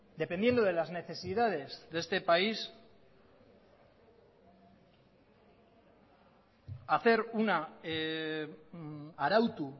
dependiendo de las necesidades de este país hacer una arautu